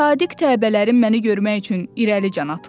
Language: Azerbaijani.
Sadiq təbələrim məni görmək üçün irəli can atırlar.